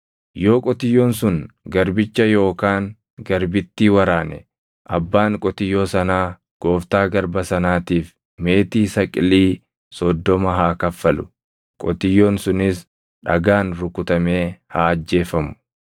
Yoo qotiyyoon sun garbicha yookaan garbittii waraane abbaan qotiyyoo sanaa gooftaa garba sanaatiif meetii saqilii + 21:32 Saqiliin tokko giraamii 345. soddoma haa kaffalu; qotiyyoon sunis dhagaan rukutamee haa ajjeefamu.